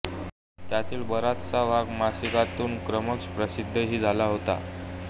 त्यातील बराचसा भाग मासिकातून क्रमश प्रसिद्धही झाला होता